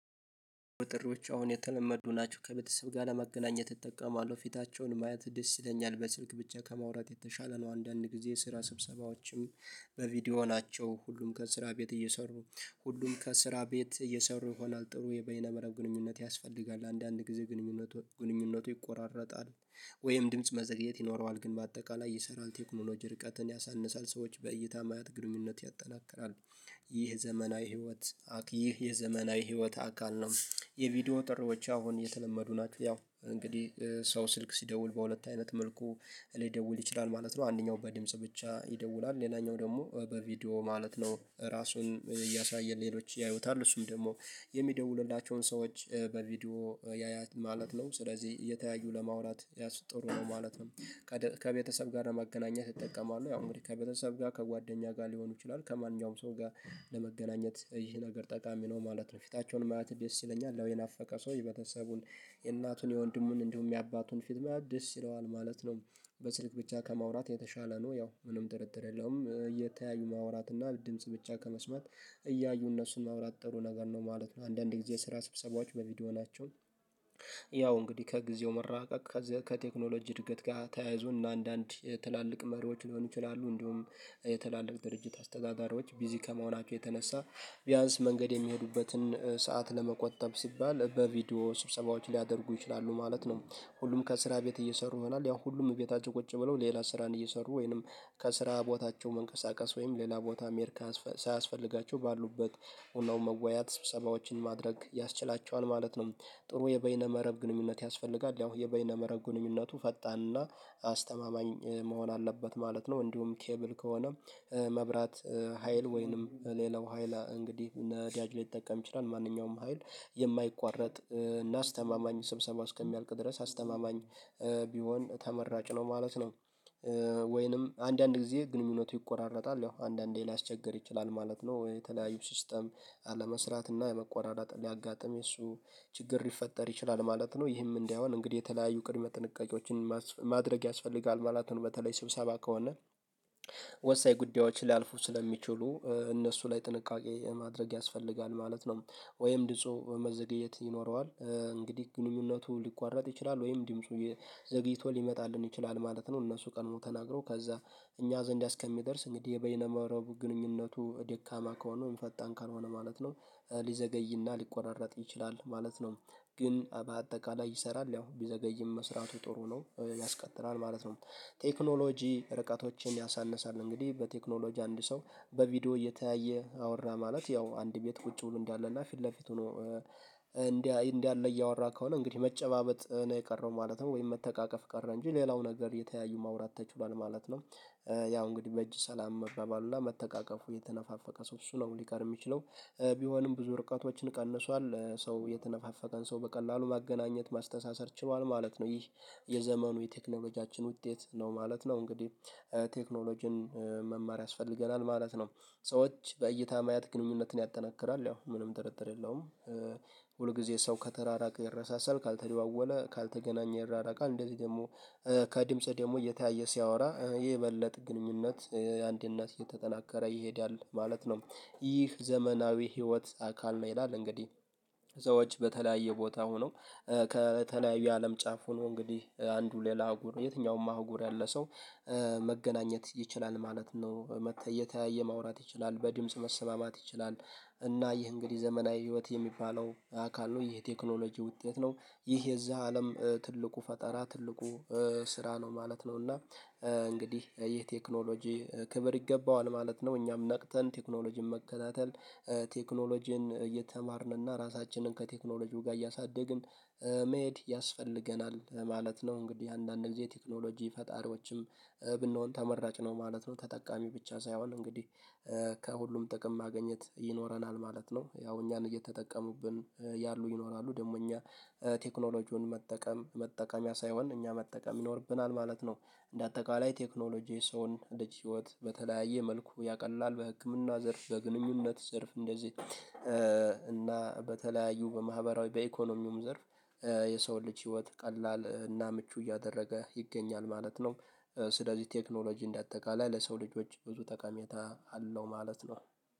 ጥሪዎች አሁን የተለመዱ ናቸው ከቤተሰብ ጋር ለመገናኘት እጠቀማለሁ ፊታቸውን ማየት ደስ ይለኛል በስልክ ብቻ ከማውራት የተሻለ ነው አንዳንድ ጊዜ ስራ ስብሰባዎችም በቪዲዮ ናቸው ሁሉም ከስራ ቤት እየሰሩ ሁሉም ከስራ ቤት እየሰሩ ይሆናል ጥሩ የበይነ መረብ ግንኙነት ያስፈልጋል አንዳንድ ጊዜ ግንኙነቱ ግንኙነቱ ይቆራረጣል ወይም ድምጽ መዘግየት ይኖረዋል ግን በአጠቃላይ ይሰራል ቴክኖሎጅ ርቀትን ያሳንሳል ሰዎች በእይታ ማየት ግንኙነት ያጠናክራል ይህ ዘመናዊ ህይወት ይህ የዘመናዊ ህይወት አካል ነው የቪዲዮ ጥሪዎች አሁን የተለመዱ ናቸው ያው እንግዲህ ሰው ስልክ ሲደውል በሁለት አይነት መልኩ ሊደውል ይችላል ማለት ነው አንደኛው በድምጽ ብቻ ይደውላል ሌላኛው ደግሞ በቪዲዮ ማለት ነው ራሱን እያሳየ ሌሎች ያዩታል እሱም ደግሞ የሚደውሉላቸውን ሰዎች በቪዲዮ ያያል ማለት ነው ስለዚህ እየተያዩ ለማውራት ያሱ ጥሩ ነው ማለት ነው ከቤተሰብ ጋር ለማገናኘት ይጠቀማሉ ያው እንግዲህ ከቤተሰብ ጋር ከጓደኛ ጋር ሊሆኑ ይችላሉ ከማንኛውም ሰው ጋር ለመገናኘት ይህ ነገር ጠቃሚ ነው ማለት ነው ፊታቸውን ማየት ደስ ይለኛል ያው የናፈቀ ሰው የቤተሰቡን የእናቱን የወንድሙን እንዲሁም የአባቱን ፊት ማየት ይለዋል ማለት ነው በስልክ ብቻ ከማውራት የተሻለ ነው ያው ምንም ጥርጥር የለውም እየተያዩ ማውራት እና ድምጽ ብቻ ከመስማት እያዩ እነሱን ማውራት ጥሩ ነገር ነው ማለት ነው አንዳንዴ ጊዜ ስራ ስብሰባዎች በቪዲዮ ናቸው ያው እንግዲህ ከጊዜው መራቀቅ ከቴክኖሎጂ እድገት ጋር ተያያዞና አንዳንድ ትላልቅ መሪዎች ሊሆኑ ይችላሉ እንዲሁም የትላልቅ ድርጅት አስተዳዳሪዎች ቢዚ ከመሆናቸው የተነሳ ቢያንስ መንገድ የሚሄዱበትን ሰዓት ለመቆጠብ ሲባል በቪዲዮ ስብሰባዎች ሊያደርጉ ይችላሉ ማለት ነው ሁሉም ከስራ ቤት እየሰሩ ይሆናል ያው ሁሉም ቤታቸው ቁጭ ብለው ሌላ ስራን እየሰሩ ወይንም ከስራ ቦታቸው መንቀሳቀስ ወይም ሌላ ቦታ መሄድ ሳያስፈልጋቸው ባሉበት ሆነው መወያያት ስብሰባዎችን ማድረግ ያስችላቸዋል ማለት ነው ጥሩ የበይነ መረብ ግንኙነት ያስፈልጋል ያው የበይነ መረብ ግንኙነቱ ፈጣንና አስተማማኝ መሆን አለበት ማለት ነው እንዲሁም ኬብል ከሆነ መብራት ሀይል ወይንም ሌላው ኃይላ እንግዲህ እነዳጅ ሊጠቀም ይችላል ማንኛውም ሀይል የማይቋረጥ እና አስተማማኝ ስብሰባ እስከሚያልቅ ድረስ አስተማማኝ ቢሆን ተመራጭ ነው ማለት ነው ወይንም አንዳንድ ጊዜ ግንኙነቱ ይቆራረጣል ያው አንዳንዴ ሊያስቸገር ይችላል ማለት ነው የተለያዩ ሲስተም አለመስራት እና የመቆራረጥ ሊያጋጥም የሱ ችግር ሊፈጠር ይችላል ማለት ነው ይህም እንዳይሆን እንግዲህ የተለያዩ ቅድመ ጥንቃቄዎችን ማድረግ ያስፈልጋል ማለት ነው በተለይ ስብሰባ ከሆነ ወሳኝ ጉዳዮች ሊያልፉ ስለሚችሉ እነሱ ላይ ጥንቃቄ ማድረግ ያስፈልጋል ማለት ነው ወይም ድምፁ መዘገየት ይኖረዋል እንግዲህ ግንኙነቱ ሊቋረጥ ይችላል ወይም ድምፁ ዘግይቶ ሊመጣልን ይችላል ማለት ነው እነሱ ቀድመው ተናግረው ከዛ እኛ ዘንድ እስከሚደርስ እንግዲህ የበይነ መረቡ ግንኙነቱ ደካማ ከሆነወይም ፈጣን ካልሆነ ማለት ነው ሊዘገይና ሊቆራረጥ ይችላል ማለት ነው ግን በአጠቃላይ ይሰራል ያው ቢዘገይም መስራቱ ጥሩ ነው ያስቀጥላል ማለት ነው ቴክኖሎጂ ርቀቶችን ያሳንሳል እንግዲህ በቴክኖሎጂ አንድ ሰው በቪዲዮ እየተያየ አወራ ማለት ያው አንድ ቤት ቁጭ ብሎ እንዳለ እና ፊት ለፊቱ ሆኖ እንደ እንዳለ እያወራ ከሆነ እንግዲህ መጨባበጥ ነው የቀረው ማለት ነው ወይም መተቃቀፍ ቀረ እንጂ ሌላው ነገር እየተያዩ ማውራት ተችሏል ማለት ነው ያው እንግዲህ በእጅ ሰላም መባባሉና መተቃቀፉ የተነፋፈቀ ሰው እሱ ነው ሊቀር የሚችለው ቢሆንም ብዙ ርቀቶችን ቀንሷል ሰው የተነፋፈቀን ሰው በቀላሉ ማገናኘት ማስተሳሰር ችሏል ማለት ነው ይህ የዘመኑ የቴክኖሎጂያችን ውጤት ነው ማለት ነው እንግዲህ ቴክኖሎጂን መማር ያስፈልገናል ማለት ነው ሰዎች በእይታ ማየት ግንኙነትን ያጠናክራል ያው ምንም ጥርጥር የለውም ሁል ጊዜ ሰው ከተራራቀ ይረሳሳል ካልተደዋወለ ካልተገናኘ ይራራቃል እንደዚህ ደግሞ ከድምጽ ደግሞ እየተያየ ሲያወራ የበለጠ ግንኙነት አንድነት እየተጠናከረ ይሄዳል ማለት ነው ይህ ዘመናዊ ህይወት አካል ነው ይላል እንግዲህ ሰዎች በተለያየ ቦታ ሆነው ከተለያየ የአለም ጫፍ ሆኖ እንግዲህ አንዱ ሌላ አህጉር የትኛውም አህጉር ያለ ሰው መገናኘት ይችላል ማለት ነው መታ እየተያየ ማውራት ይችላል በድምጽ መሰማማት ይችላል እና ይህ እንግዲህ ዘመናዊ ህይወት የሚባለው አካል ነው ይህ ቴክኖሎጂ ውጤት ነው ይሄ የዚህ አለም ትልቁ ፈጠራ ትልቁ ስራ ነው ማለት ነው እና እንግዲህ ይህ ቴክኖሎጂ ክብር ይገባዋል ማለት ነው እኛም ነቅተን ቴክኖሎጂን መከታተል ቴክኖሎጂን እየተማርን እና ራሳችንን ከቴክኖሎጂው ጋር እያሳደግን መሄድ ያስፈልገናል ማለት ነው እንግዲህ አንዳንድ ጊዜ ቴክኖሎጂ ፈጣሪዎችም ብንሆን ተመራጭ ነው ማለት ነው ተጠቃሚ ብቻ ሳይሆን እንግዲህ ከሁሉም ጥቅም ማግኘት ይኖረናል ማለት ነው ያው እኛን እየተጠቀሙብን ያሉ ይኖራሉ ደግሞ እኛ ቴክኖሎጂውን መጠቀም መጠቀሚያ ሳይሆን እኛ መጠቀም ይኖርብናል ማለት ነው እንደ አጠቃላይ ቴክኖሎጂ የሰውን ልጅ ህይወት በተለያየ መልኩ ያቀላል በህክምና ዘርፍ በግንኙነት ዘርፍ እንደዚህ እና በተለያዩ በማህበራዊ በኢኮኖሚውም ዘርፍ የሰውን ልጅ ህይወት ቀላል እና ምቹ እያደረገ ይገኛል ማለት ነው ስለዚህ ቴክኖሎጂ እንደአጠቃላይ ለሰው ልጆች ብዙ ጠቀሜታ አለው ማለት ነው።